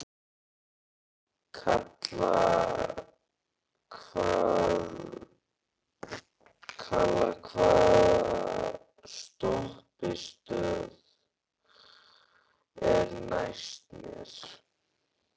Kalla, hvaða stoppistöð er næst mér?